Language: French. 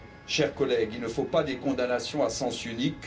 Chers collègues, il ne faut pas de condamnations à sens unique.